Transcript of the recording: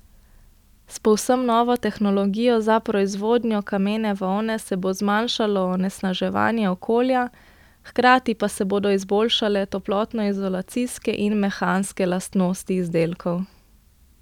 S povsem novo tehnologijo za proizvodnjo kamene volne se bo zmanjšalo onesnaževanje okolja, hkrati pa se bodo izboljšale toplotnoizolacijske in mehanske lastnosti izdelkov.